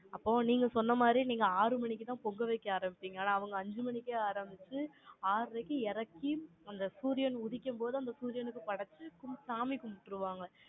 அப்ப நீங்க சொன்ன மாதிரி, நீங்க ஆறு மணிக்கு தான், பொங்கல் வைக்க ஆரம்பிச்சீங்க. ஆனா, அவங்க அஞ்சு மணிக்கே ஆரம்பிச்சு, ஆறரைக்கு இறக்கி, அந்த சூரியன் உதிக்கும் போது, அந்த சூரியனுக்கு படைச்சு, சாமி கும்பிட்டுருவாங்க.